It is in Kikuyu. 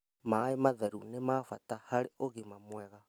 Maĩ matheru nĩ ma bata harĩ ũgima mwega.